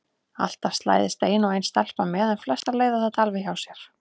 Alltaf slæðist ein og ein stelpa með en flestar leiða þetta alveg hjá sér.